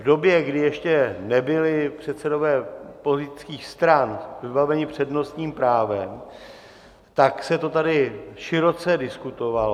V době, kdy ještě nebyli předsedové politických stran vybaveni přednostním právem, tak se to tady široce diskutovalo.